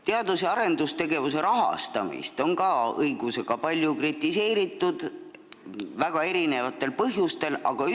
Teadus- ja arendustegevuse rahastamist on õigusega palju ja väga erinevatel põhjustel kritiseeritud.